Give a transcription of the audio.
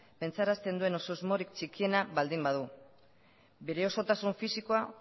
pentsarazten duen edo susmorik txikiena baldin badu bere osotasun fisikoa